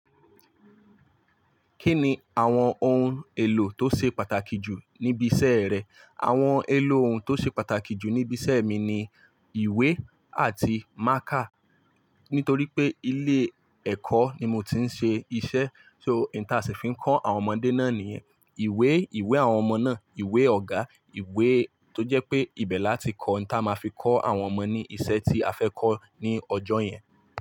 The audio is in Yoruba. Kí ni àwọn ohun èlò tó ṣe pàtàkì jù níbi iṣẹ́ rẹ? Àwọn èlò ohun tó ṣe pàtàkì jù níbi iṣẹ́ mi ni ìwé àti mákà. Nítorí pé ilé ẹ̀kọ́ ni mo ti ń ṣe iṣẹ́, so ìta sì ń fi ń kọ́ àwọn ọmọdé náà ní ìwé, ìwé àwọn ọmọ náà, ìwé ọ̀gá, ìwé tó jẹ́ pé ibẹ̀ láti kọ ohun tí a máa fi kọ́ àwọn ọmọ ní ìṣe tí a fẹ́ kọ́ ní ọjọ́ yẹn.